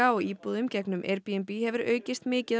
á íbúðum gegnum Airbnb hefur aukist mikið